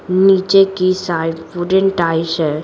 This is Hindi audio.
नीचे की साइड वुडन टाईस है।